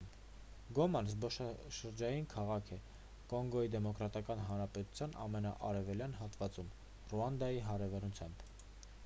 գոման զբոսաշրջային քաղաք է կոնգոյի դեմոկրատական հանրապետության ամենաարևելյան հատվածում ռուանդայի հարևանությամբ